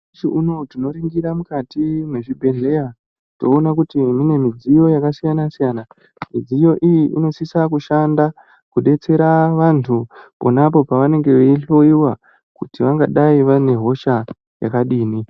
Nhasi unowu tinoningira mukati mezvibhedhlera toona kuti mune midziyo yakasiyana siyana midziyo iyi inosisa kushanda kudetsera vantu ponapo pavanenge veihloyiwa kuti vangadai vanehosha yakadini.